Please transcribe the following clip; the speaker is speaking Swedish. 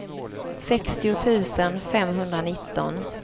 sextio tusen femhundranitton